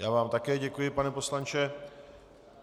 Já vám také děkuji, pane poslanče.